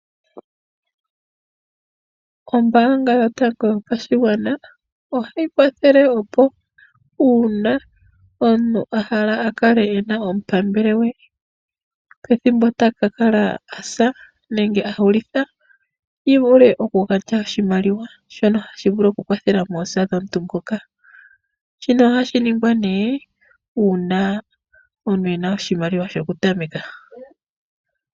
Ombaanga yotango yopashigwana ohayi kwathele opo uuna omuntu o hala a kale ena omupambele gwe pethimbo taka kala a sa nenge a hulitha, yi vule oku kala yaandja iimaliwa yoosa, yi vule oku kala yakwathela moosa moka. Shika ohashi ningwa nee ngele omuntu e na oshimaliwa shoku tameka.